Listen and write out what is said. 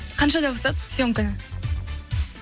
қаншада босайсыз съемкадан